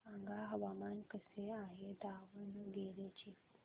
सांगा हवामान कसे आहे दावणगेरे चे